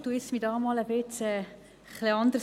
Ich verhalte mich jetzt einmal etwas anders.